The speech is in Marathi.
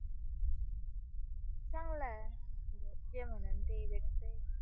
चांगला आहे जे म्हणून ते भेटते